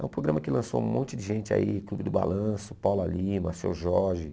É um programa que lançou um monte de gente aí, Clube do Balanço, Paula Lima, Seu Jorge.